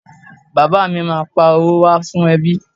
Bàbá à mi ma pa owó wá fún ẹbí.